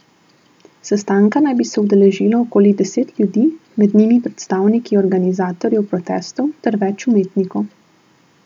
Sestanka naj bi se udeležilo okoli deset ljudi, med njimi predstavniki organizatorjev protestov ter več umetnikov.